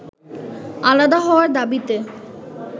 আলাদা হওয়ার দাবিতে